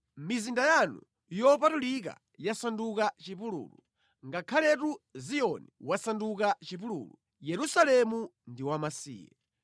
Mizinda yanu yopatulika yasanduka chipululu; ngakhaletu Ziyoni wasanduka chipululu, Yerusalemu ndi wamasiye.